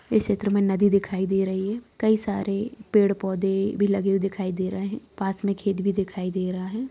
इस चित्र में नदी दिखाई दे रही है कई सारे पेड़-पौधे भी लगे हुए दिखाई दे रहे हैं पास में खेत भी दिखाई दे रहा है।